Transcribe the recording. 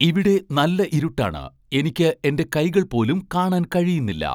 ഇവിടെ നല്ല ഇരുട്ടാണ് എനിക്ക് എൻ്റെ കൈകൾ പോലും കാണാൻ കഴിയുന്നില്ല